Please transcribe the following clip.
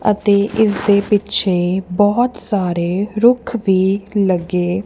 ਅਤੇ ਇਸ ਦੇ ਪਿੱਛੇ ਬਹੁਤ ਸਾਰੇ ਰੁੱਖ ਵੀ ਲੱਗੇ--